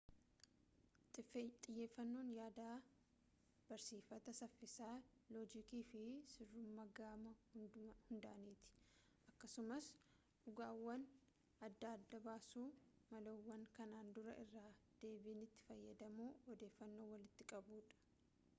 xiyyeeffannoon yaada barsiifataa saffisa loojikii fi sirrummaa gama hundaaniiti akkasumas dhugaawwan adda adda baasu malawwan kanaan duraa irra-deebiin itti fayyadamuu odeeffannoo walitti qabuudha